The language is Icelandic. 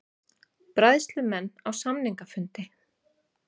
Bræðslumenn á samningafundi